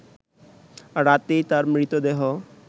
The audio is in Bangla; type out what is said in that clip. রাতেই তার মৃতদেহ